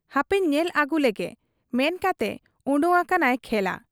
ᱦᱟᱯᱮᱧ ᱧᱮᱞ ᱟᱹᱜᱩᱞᱮᱜᱮ' ᱢᱮᱱᱠᱟᱛᱮ ᱚᱰᱚᱠ ᱟᱠᱟᱱᱟᱭ ᱠᱷᱮᱞᱟ ᱾